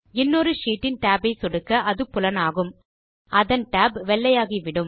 இன்னொரு ஷீட் இன் tab ஐ சொடுக்க அது புலனாகும் அதன் tab வெள்ளையாகிவிடும்